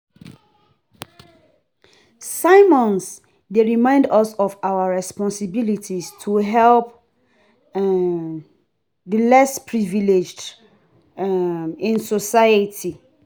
Sermons dey remind us of our responsibilities to help um the less privileged um in society.